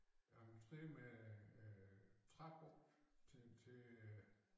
Entré med øh trapper til til øh